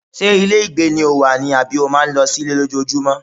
Ṣé ilé ìgbé ni o wà ni àbí o máa ń lọ sí ilé lójoojúmọ́?